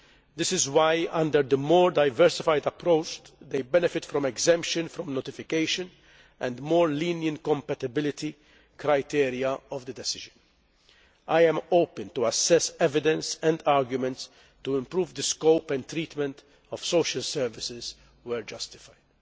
This is why under the more diversified approach they benefit from exemption from notification and more lenient compatibility criteria of the decision. I am open to assessing evidence and arguments to improve the scope and treatment of social services where justified.